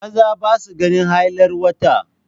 Maza ba sa ganin hailar wata.